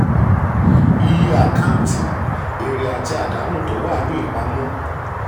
iye um àkáǹtì: èrè àti àdánù tó wà um ní ìpàmọ.